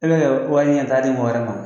E bɛ kɛ wari ɲɛtaa di mɔgɔ wɛrɛ ma.